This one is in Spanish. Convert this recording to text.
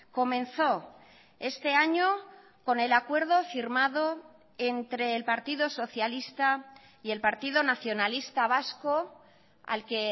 comenzó este año con el acuerdo firmado entre el partido socialista y el partido nacionalista vasco al que